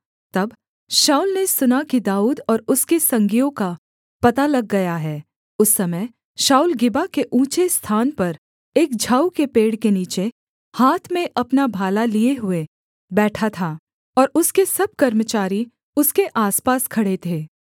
तब शाऊल ने सुना कि दाऊद और उसके संगियों का पता लग गया हैं उस समय शाऊल गिबा के ऊँचे स्थान पर एक झाऊ के पेड़ के नीचे हाथ में अपना भाला लिए हुए बैठा था और उसके सब कर्मचारी उसके आसपास खड़े थे